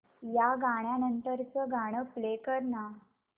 या गाण्या नंतरचं गाणं प्ले कर ना